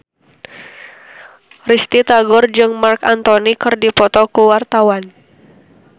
Risty Tagor jeung Marc Anthony keur dipoto ku wartawan